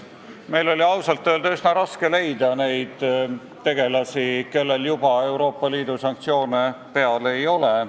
Meil oli ausalt öeldes üsna raske leida neid tegelasi, kellel juba Euroopa Liidu sanktsioone peal ei ole.